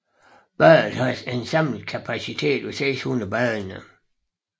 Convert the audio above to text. Badet har en samlet kapacitet på 600 badende